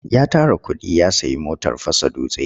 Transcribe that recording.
Ya tara kuɗi ya sayi motar fasa dutse.